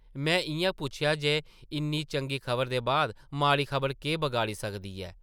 में इʼयां पुच्छेआ जे इन्नी चंगी खबरा दे बाद माड़ी खबर केह् बगाड़ी सकदी ऐ ।